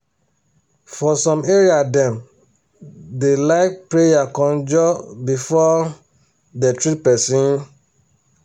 for some area dem da like pray conjur before um dem treat person um